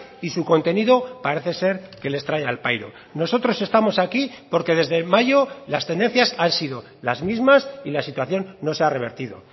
y su contenido parece ser que les trae al pairo nosotros estamos aquí porque desde mayo las tendencias han sido las mismas y la situación no se ha revertido